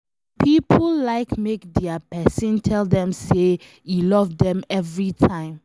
Some pipo like make dia pesin tell dem say e love dem everytime